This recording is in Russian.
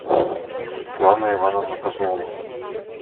светлана ивановна козлова